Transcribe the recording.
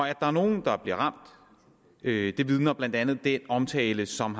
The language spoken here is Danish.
at der er nogle der bliver ramt vidner blandt andet den omtalte som